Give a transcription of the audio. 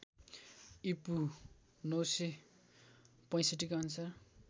ईपू ९६५ का अनुसार